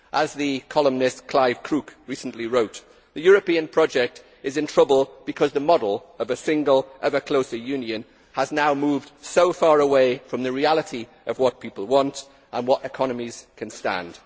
As the columnist Clive Crook recently wrote, the European project is in trouble because the model of a single, ever closer union has now moved so far away from the reality of what people want and what economies can stand.